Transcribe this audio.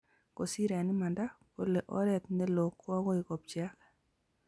kisiir eng imanda, kole oret neloo koagoi kopcheak